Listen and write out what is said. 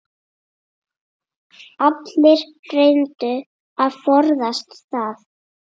Allir reyndu að forðast það.